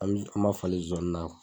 An m an b'a falen zoani na